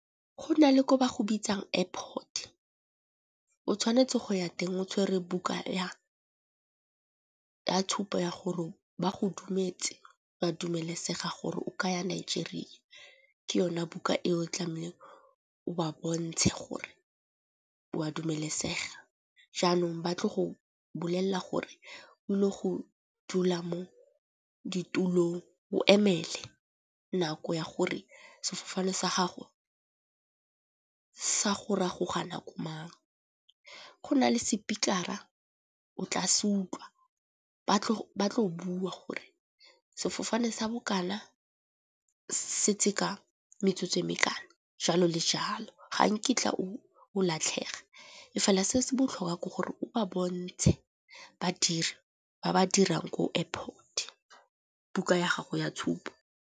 Go na le ko ba go bitsang airport o tshwanetse go ya teng o tshwere buka ya tshupo ya gore ba go dumetse ba dumelesega gore o kaya Nigeria. Ke yone buka ko o tlameleng o ba bontshe gore wa dumelesega, jaanong batlo go bolelela gore o ile go dula mo ditulong o emele nako ya gore sefofane sa gago sa go ragoga nako mang. Go nale sepikara o tla se utlwa ba tlo bua gore sefofane sa bokana se tse ka metsotso e mekana jalo le jalo. Ga nkitla o latlhege e fela se se botlhokwa ke gore o ba bontshe badiri ba ba dirang ko airport buka ya gago ya tshupo.